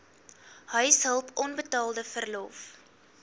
huishulp onbetaalde verlof